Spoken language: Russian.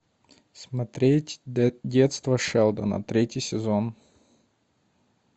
смотреть детство шелдона третий сезон